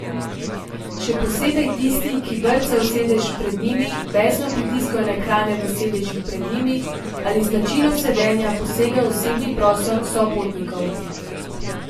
Še posebej tisti, ki brcajo v sedež pred njimi, besno pritiskajo na ekrane v sedežih pred njimi ali z načinom sedenja posegajo v osebni prostor sopotnikov.